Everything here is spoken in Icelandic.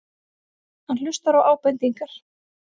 Hann hlustar á ábendingar.